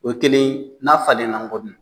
O kelen n'a falenna n kɔ dun